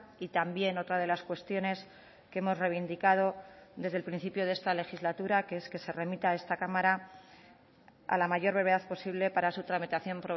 y también otra de las cuestiones que hemos reivindicado desde el principio de esta legislatura que es que se remita a esta cámara a la mayor brevedad posible para su tramitación